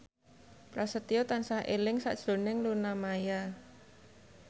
Prasetyo tansah eling sakjroning Luna Maya